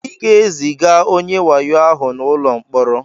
Ị ga-eziga onye wayo ahụ n'ụlọ mkpọrọ!